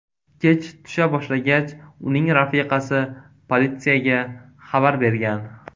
Kech tusha boshlagach, uning rafiqasi politsiyaga xabar bergan.